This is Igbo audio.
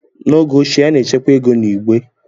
N'oge ochie, a na-echekwa ego na igbe,